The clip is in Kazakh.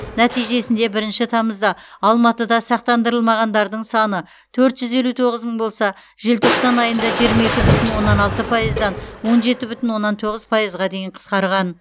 нәтижесінде бірінші тамызда алматыда сақтандырылмағандардың саны төрт жүз елу тоғыз мың болса желтоқсан айында жиырма екі бүтін оннан алты пайыздан он жеті бүтін оннан тоғыз пайызға дейін қысқарған